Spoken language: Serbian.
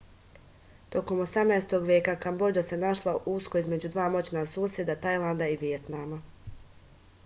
tokom 18. veka kambodža se našla usko između dva moćna suseda tajlanda i vijetnama